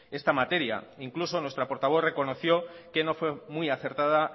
esta materia incluso nuestra portavoz reconoció que no fue muy acertada